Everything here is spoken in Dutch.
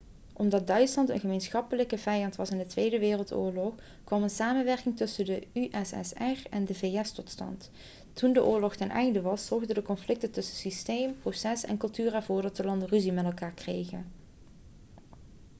omdat duitsland een gemeenschappelijke vijand was in de tweede wereldoorlog kwam een samenwerking tussen de ussr en de vs tot stand toen de oorlog ten einde was zorgen de conflicten tussen systeem proces en cultuur ervoor dat de landen ruzie met elkaar kregen